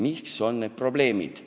Milles on probleem?